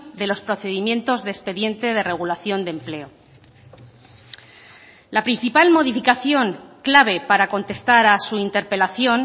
de los procedimientos de expediente de regulación de empleo la principal modificación clave para contestar a su interpelación